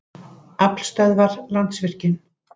Aflstöðvar- Landsvirkjun.